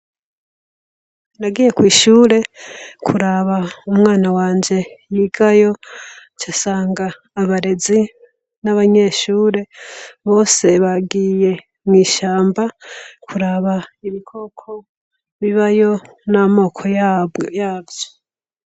Nagiye kw'ishure kuraba umwana wanje yigayo casanga abarezi n'abanyeshure bose bagiye mw'ishamba kuraba ibikoko bibayo n'amoko yaw yavyo.